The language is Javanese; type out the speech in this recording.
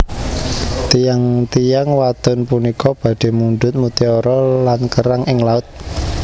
Tiyang tiyang wadon punika badhe mundhut mutiara lan kerang ing laut